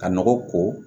Ka nɔgɔ ko